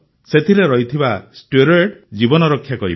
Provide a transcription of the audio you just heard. ସେଥିରେ ରହିଥିବା ଷ୍ଟେରଏଡ୍ ଜୀବନ ରକ୍ଷା କରିପାରେ